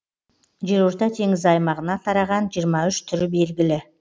жерорта теңізі аймағына тараған жиырма үш түрі белгілі